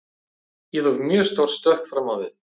Ég tók mjög stórt stökk fram á við.